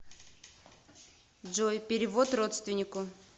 джой перевод родственнику